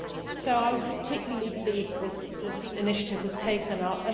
so I was particularly pleased that this initiative was taken up.